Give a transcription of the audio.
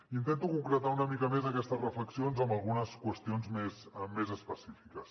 intento concretar una mica més aquestes reflexions amb algunes qüestions més específiques